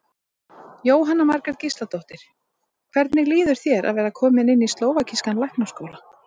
Jóhanna Margrét Gísladóttir: Hvernig líður þér að vera kominn inn í slóvakískan læknaskóla?